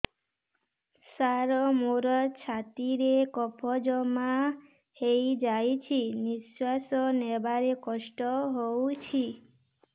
ସାର ମୋର ଛାତି ରେ କଫ ଜମା ହେଇଯାଇଛି ନିଶ୍ୱାସ ନେବାରେ କଷ୍ଟ ହଉଛି